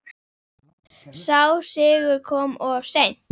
Sá sigur kom of seint.